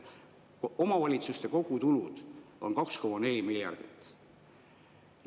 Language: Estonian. Omavalitsuste kogutulud on 2,4 miljardit.